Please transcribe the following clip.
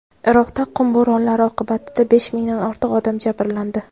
Iroqda qum bo‘ronlari oqibatida besh mingdan ortiq odam jabrlandi.